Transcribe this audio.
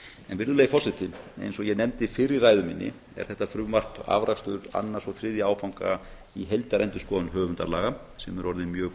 virðulegi forseti eins og ég nefndi fyrr í ræðu minni er þetta frumvarp afrakstur annars og þriðja áfanga í heildarendurskoðun höfundalaga sem er orðin mjög